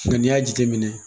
Nka n'i y'a jateminɛ